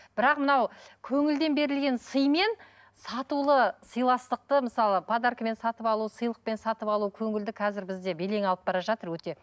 бірақ мынау көңілден берілген сыймен сатулы сыйластықты мысалы подаркамен сатып алу сыйлықпен сатып алу көңілді қазір бізде белең алып бара жатыр өте